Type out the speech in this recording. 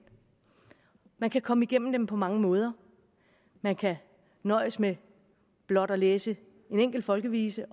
man kan komme igennem dem på mange måder man kan nøjes med blot at læse en enkelt folkevise